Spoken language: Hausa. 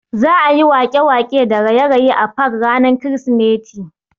Za'a yi waƙe-waƙe da raye-raye a fak ranar krismeti.